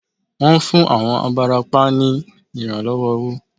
Wón fún àwọn abarapá ní ìrànlọ́wọ́ owó